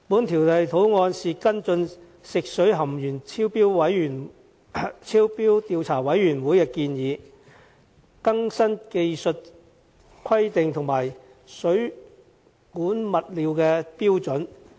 《條例草案》是跟進食水含鉛超標調查委員會的建議，更新技術規定和水管物料的標準。